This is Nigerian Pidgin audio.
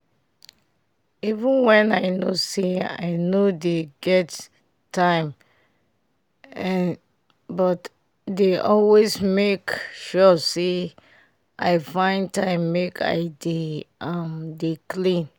even when i know say i no dey get time eh but i dey always make sure say i find time make i dey um dey clean